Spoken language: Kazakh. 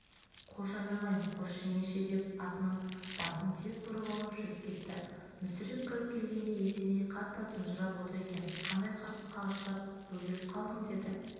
қош айналайын қош жеңеше деп атының басын тез бұрып алып жүріп кетті мүсіреп кіріп келгенде есеней қатты тұнжырап отыр екен қандай қырсыққа ұшырап бөгеліп қалдың деді